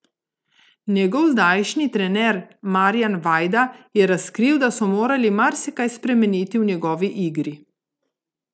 Njegov zdajšnji trener Marijan Vajda je razkril, da so morali marsikaj spremeniti v njegovi igri.